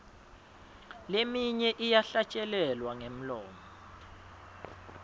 leminye iyahlatjelelwa ngemlomo